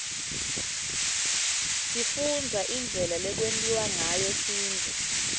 sifundza indlela lekwentiwa ngayo sintfu